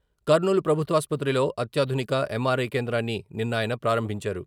కర్నూలు ప్రభుత్వాసుపత్రిలో అత్యాధునిక ఎంఆర్ఐ కేంద్రాన్ని నిన్న ఆయన ప్రారంభించారు.